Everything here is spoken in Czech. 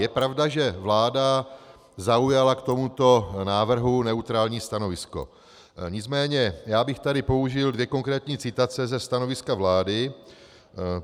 Je pravda, že vláda zaujala k tomuto návrhu neutrální stanovisko, nicméně já bych tady použil dvě konkrétní citace ze stanoviska vlády.